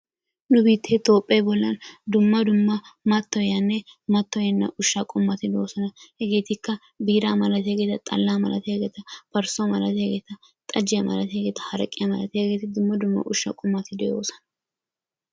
nu biittee Toophe bolla dumma dumma mattoyiyanne mattoyena ushsha qommoti de'oosona. hegetikka biira malatiyaageeta, xalla malatiyaageeta, parssuwa malatiyaageeta, xajjiya malatiyaageeta, haraqqiyaa malatiyaageeta dumma dumma ushsha qommoti de'oosona.